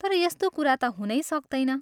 तर यस्तो कुरा ता हुनै सक्तैन।